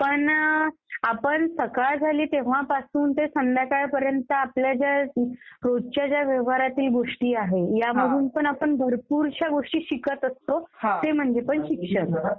पण आपण सकाळ झाली तेंव्हापासून ते संध्याकाळपर्यंत आपल्या ज्या रोजच्या ज्या व्यवहारातील गोष्टी आहेत त्यामधून पण आपण भरपूरश्या गोष्टी शिकत असतो. ते म्हणजे पण शिक्षण.